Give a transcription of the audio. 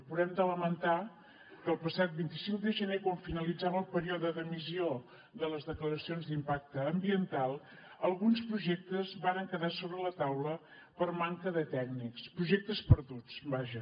però hem de lamentar que el passat vint cinc de gener quan finalitzava el període d’emissió de les declaracions d’impacte ambiental alguns projectes varen quedar sobre la taula per manca de tècnics projectes perduts vaja